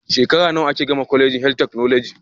Shekara nawa ake gama colegin health technology